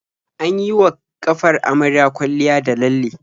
An yi wa ƙafar amaryar kwalliya da lalle.